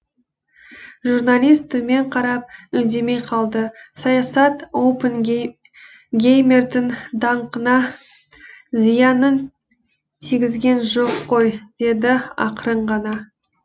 журналист төмен қарап үндемей қалды саясат оппенгеймердің даңқына зиянын тигізген жоқ қой деді ақырын ғана